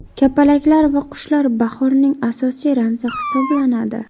Kapalaklar va qushlar bahorning asosiy ramzi hisoblanadi.